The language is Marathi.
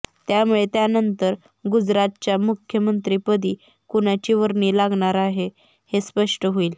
त्यामुळे त्यानंतर गुजरातच्या मुख्यमंत्रीपदी कुणाची वर्णी लागणार हे स्पष्ट होईल